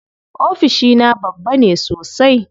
Ofishina babba ne sosai.